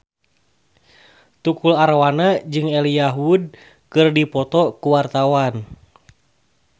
Tukul Arwana jeung Elijah Wood keur dipoto ku wartawan